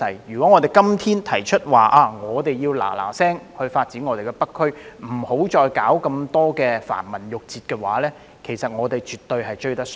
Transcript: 如果我們今天提出要立即發展北區，不要再理會繁文縟節，我們絕對追得上。